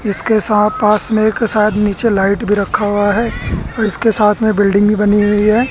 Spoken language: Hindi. इसके साथ पास में एक शायद नीचे लाइट भी रखा हुआ है और इसके साथ में बिल्डिंग भी बनी हुई है।